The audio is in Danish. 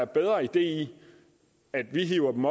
bedre idé at man hiver dem